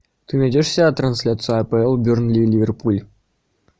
ты найдешь у себя трансляцию апл бернли ливерпуль